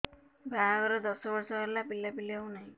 ବାହାଘର ଦଶ ବର୍ଷ ହେଲା ପିଲାପିଲି ହଉନାହି